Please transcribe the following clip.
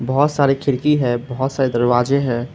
बहोत सारे खिड़की है बहोत सारे दरवाजे हैं।